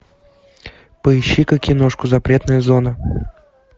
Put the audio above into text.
поищи ка киношку запретная зона